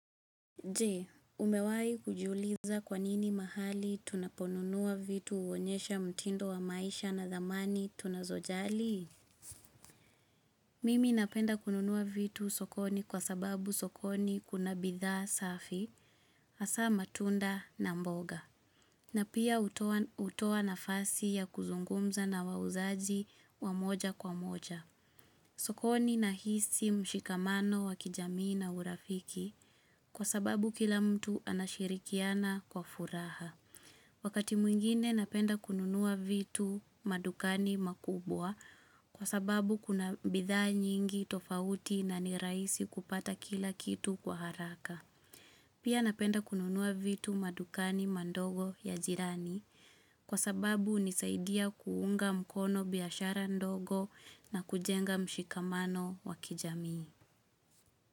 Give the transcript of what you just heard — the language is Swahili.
Je, umewahi kujuliza kwa nini mahali tunaponunua vitu huonyesha mtindo wa maisha na dhamani tunazojali? Mimi napenda kununua vitu sokoni, kwa sababu sokoni kuna bidhaa safi, hasa matunda na mboga. Na pia hutoa nafasi ya kuzungumza na wauzaji wa moja kwa moja. Sokoni na hisi mshikamano wa kijamii na urafiki, kwa sababu kila mtu anashirikiana kwa furaha. Wakati mwingine napenda kununua vitu madukani makubwa, kwa sababu kuna bidhaa nyingi tofauti na ni rahisi kupata kila kitu kwa haraka. Pia napenda kununua vitu madukani mandogo ya jirani, kwa sababu hunisaidia kuunga mkono biashara ndogo, na kujenga mshikamano wa kijamii.